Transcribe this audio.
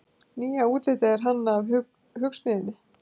nýja útlitið er hannað af hugsmiðjunni